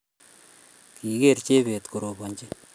Kigeer Chebet korobanjini